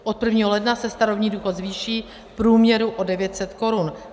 Od 1. ledna se starobní důchod zvýší v průměru o 900 korun.